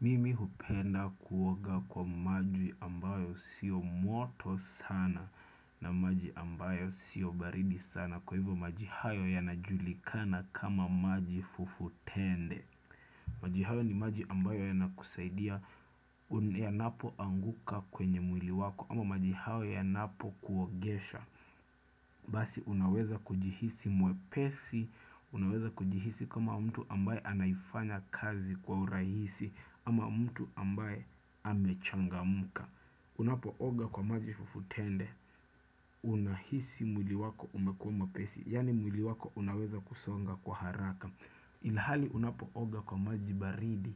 Mimi hupenda kuoga kwa maji ambayo sio moto sana na maji ambayo sio baridi sana kwa hivyo maji hayo yanajulikana kama maji fufutende. Maji hayo ni maji ambayo yanakusaidia yanapoanguka kwenye mwili wako ama maji hayo yanapokuogesha. Basi unaweza kujihisi mwepesi, unaweza kujihisi kama mtu ambaye anaifanya kazi kwa urahisi ama mtu ambaye amechangamka. Unapooga kwa maji fufutende, unahisi mwili wako umekuwa mwepesi, yaani mwili wako unaweza kusonga kwa haraka. Ile hali unapooga kwa maji baridi,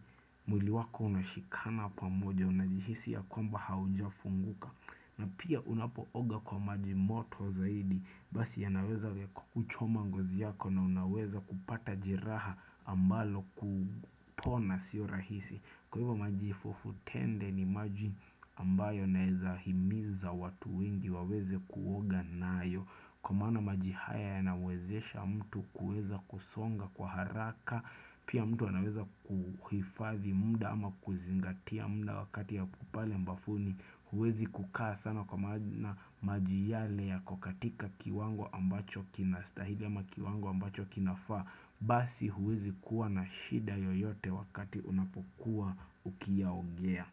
mwili wako unashikana pamoja, unajihisi ya kwamba haujafunguka. Na pia unapooga kwa maji moto zaidi, basi yanaweza yakakuchoma ngozi yako na unaweza kupata jeraha ambalo kupona sio rahisi. Kwa hiyo maji fufutende ni maji ambayo yanaweza himiza watu wengi waweze kuoga nayo. Kwa mana maji haya yanawezesha mtu kuweza kusonga kwa haraka Pia mtu anaweza kuhifadhi muda ama kuzingatia muda wakati yapo pale bafuni huwezi kukaa sana kwa maana maji yale yako katika kiwango ambacho kinastahili ama kiwango ambacho kinafaa Basi huwezi kuwa na shida yoyote wakati unapokuwa ukiyaogea.